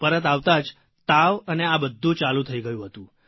પરત આવતાં જ તાવ અને આ બધું ચાલુ થઇ ગયું હતું